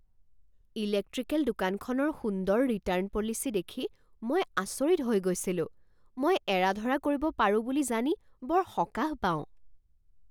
Electrical দোকানখনৰ সুন্দৰ return policy দেখি মই আচৰিত হৈ গৈছিলোঁ মই এৰা ধৰা কৰিব পাৰোঁ বুলি জানি বৰ সকাহ পাওঁ।